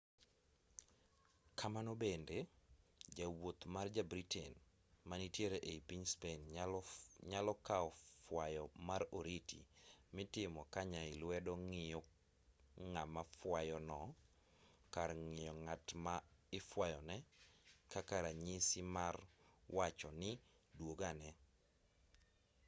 kamano bende jawuoth ma ja-britain manitiere ei piny spain nyalo kao fwayo mar oriti mitimo ka nyai lwedo ng'iyo ngama fuayo no kar ng'iyo ng'at ma ifwayone kaka ranyisi no mar wacho ni dwogane